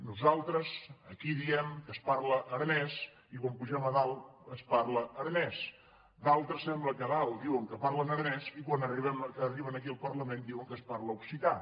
nosaltres aquí diem que es parla aranès i quan pugem a dalt es parla aranès d’al·tres sembla que a dalt diuen que parlen aranès i quan ar·riben aquí al parlament diuen que es parla occità